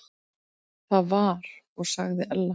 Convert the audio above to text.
Það var og sagði Ella.